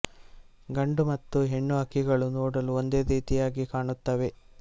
ಗಂಡು ಮತ್ತು ಹೆಣ್ಣು ಹಕ್ಕಿಗಳು ನೋಡಲು ಒಂದೇ ರೀತಿಯಾಗಿ ಕಾಣುತ್ತವೆ